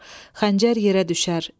Xəncər yerə düşər.